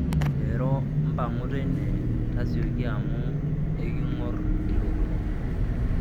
eero mpang'u teine tasioki amu ekingor ilotorok